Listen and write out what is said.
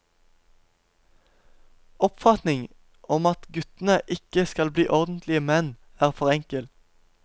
Oppfatningen om at guttene ikke skal bli ordentlige menn er for enkel.